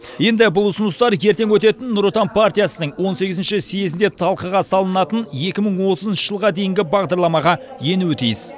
енді бұл ұсыныстар ертең өтетін нұр отан партиясының он сегізінші съезінде талқыға салынатын екі мың отызыншы жылға дейінгі бағдарламаға енуі тиіс